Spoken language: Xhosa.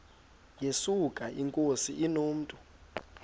yesuka inkosi inomntu